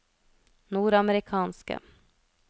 nordamerikanske